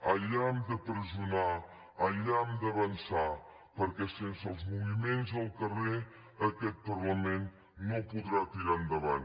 allà hem de pressionar allà hem d’avançar perquè sense els moviments al carrer aquest parlament no podrà tirar endavant